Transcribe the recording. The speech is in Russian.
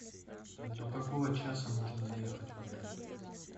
до какого часа можно заехать в отель